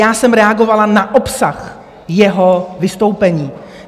Já jsem reagovala na obsah jeho vystoupení.